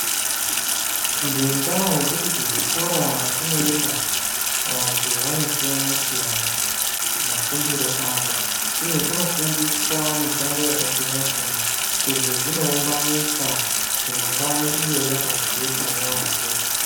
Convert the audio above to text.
Ngendaa yekuti kuzvikora kwatinoenda vantu vanosiyana siyana mafundire avo uye kunofundiswa mishando yakasiyana siyana ,izvi zvinoumba nyika kuti mangwanani iye yakajeka yambo.